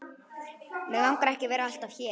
Mig langar ekki að vera alltaf hér.